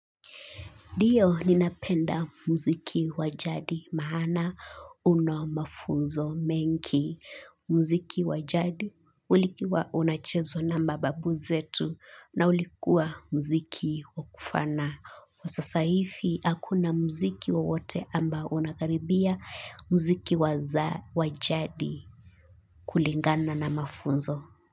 Ndio ninapenda muziki wa jadi maana una mafunzo mengi. Mziki wa jadi ulikuwa unachezwa na mababu zetu na ulikuwa muziki wa kufana. Kwa sasa hivi hakuna muziki wowote ambao unakaribia muziki wa jadi kulingana na mafunzo.